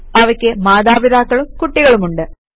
അവയ്ക്ക് മാതാപിതാക്കളും കുട്ടികളുമുണ്ട്